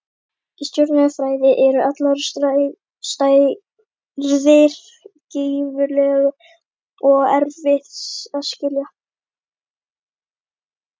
Í stjörnufræði eru allar stærðir gífurlegar og erfitt að skilja.